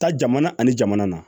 Taa jamana ani jamana na